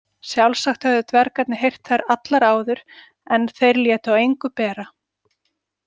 Sjálfsagt höfðu dvergarnir heyrt þær allar áður en þeir létu á engu bera.